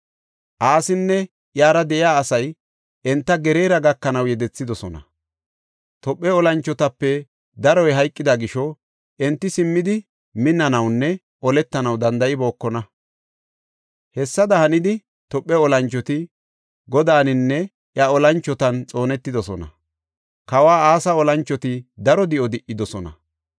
Asinne iyara de7iya asay enta Geraara gakanaw yedethidosona. Tophe olanchotape daroy hayqida gisho enti simmidi minnanawunne oletanaw danda7ibookona. Hessada hanidi, Tophe olanchoti Godaaninne iya olanchotan xoonetidosona. Kawa Asa olanchoti daro di7o di77idosona.